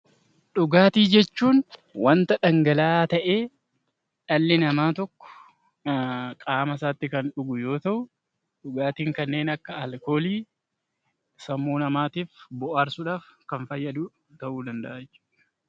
Dhugaatii jechuun wanta dhangala'aa tahee dhalli namaa tokko qaama isaatti Kan dhugu yoo tahu, dhugaatiin kanneen akka alkoolii sammuu namaatiif booharsuudhaaf Kan fayyadu tahuu danda'a.